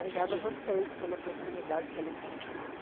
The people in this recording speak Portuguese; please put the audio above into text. Obrigada a vocês pela oportunidade, pelo convite.